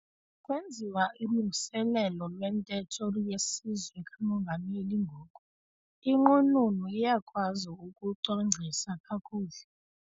Kwenziwa ulungiselelo lwentetho yesizwe kamongameli ngoku. inqununu iyakwazi ukucwangcisa kakuhle